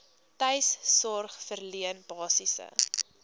tuissorg verleen basiese